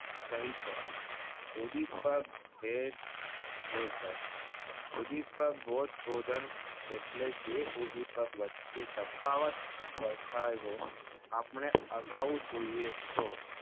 કહી શકાય ઉધીપગ ભોજ ભોદન એટલે જે ઉંધીપગ વચ્ચે તફાવત સરખાવ્યો આપણે અગાવ જોએ તો